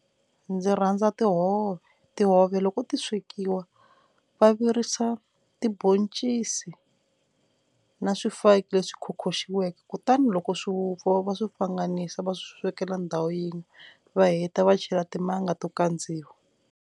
Ndzi rhandza tihove tihove loko ti swekiwa va virisa tiboncisi na swifaki leswi khokhoxiweke kutani loko swi vupfa va swi pfanganisa va swekela ndhawu yin'we va heta va chela timanga to kandziwa.